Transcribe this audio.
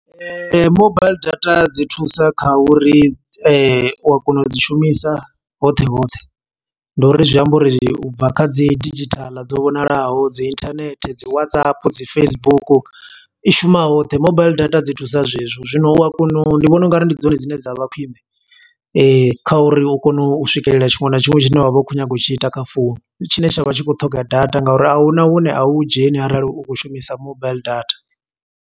Mobaiḽi data dzi thusa kha uri u wa kona u dzi shumisa hoṱhe hoṱhe. Ndi uri zwi amba uri ubva kha dzi didzhithala dzo vhonalaho, dzi internet, dzi Whatsapp, dzi Facebook. I shuma hoṱhe, mobaiḽi data dzi thusa zwe zwo zwino u a kona u, ndi vhona ungari ndi dzone dzine dza vha khwiṋe. Kha uri u kone u swikelela tshiṅwe na tshiṅwe tshine wa vha u kho nyaga u tshi ita kha founu. Tshine tsha vha tshi khou ṱhoga data, nga uri ahuna hune a u dzheni arali u khou shumisa mobaiḽi data.